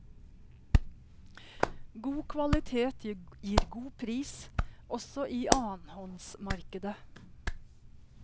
God kvalitet gir god pris, også i annenhåndsmarkedet.